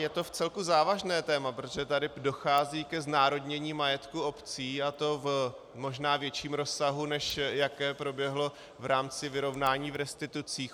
Je to vcelku závažné téma, protože tady dochází ke znárodnění majetku obcí, a to v možná ve větším rozsahu, než jaké proběhlo v rámci vyrovnání v restitucích.